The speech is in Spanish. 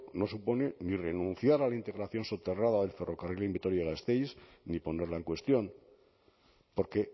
no supone ni renunciar a la integración soterrada del ferrocarril en vitoria gasteiz ni ponerla en cuestión porque